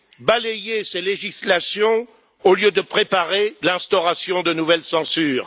Balayez ces législations au lieu de préparer l'instauration de nouvelles censures.